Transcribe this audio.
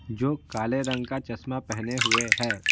जो काले रंग का चश्मा पहने हुए हैं।